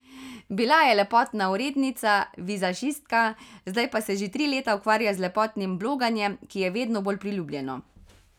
Bila je lepotna urednica, vizažistka, zdaj pa se že tri leta ukvarja z lepotnim bloganjem, ki je vedno bolj priljubljeno.